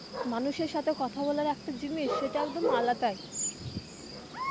মানুষের সাথে কথা বলার একটা জিনিস সেটা একদম আলাদাই.